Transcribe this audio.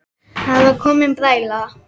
Það var komin bræla.